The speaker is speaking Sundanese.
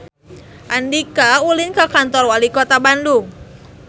Andika ulin ka Kantor Walikota Bandung